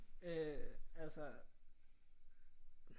Øh altså